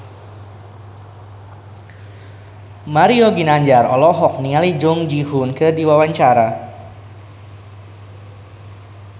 Mario Ginanjar olohok ningali Jung Ji Hoon keur diwawancara